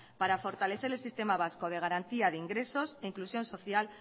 para fortalecer el sistema vasco de garantía de ingresos e inclusión social